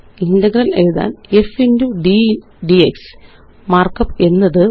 integral എഴുതാന് f x d ക്സ് markup എന്നത്5